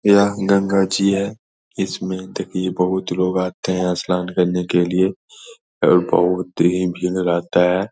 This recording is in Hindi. यह गंगा जी है इसमें देखिए बहुत लोग आते हैं इशनान करने के लिए और बहुत ही भीड़ रहता है ।